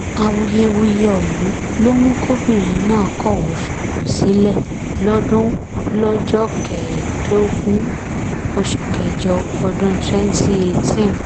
awuyewuye ọ̀hún ló mú kọbìnrin náà kọ̀wé fipò sílẹ̀ lọ́dún lọ́jọ́ kẹẹ̀ẹ́dógún oṣù kẹjọ ọdún 2018